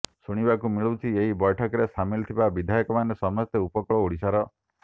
ଶୁଣିବାକୁ ମିଳୁଛି ଏହି ବୈଠକରେ ସାମିଲ ଥିବା ବିଧାୟକମାନେ ସମସ୍ତେ ଉପକୂଳ ଓଡ଼ିଶାର